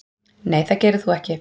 Nei það gerir þú ekki.